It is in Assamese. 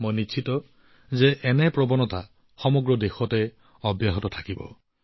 মই নিশ্চিত যে সমগ্ৰ দেশতে এনে ধাৰা অব্যাহত থাকিব